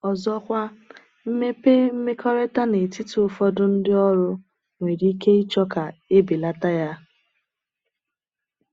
Ọ̀zọ̀kwa, mmepe mmekọrịta n'etiti ụfọdụ ndị ọrụ nwere ike ịchọ ka e belata ya.